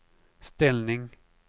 ställning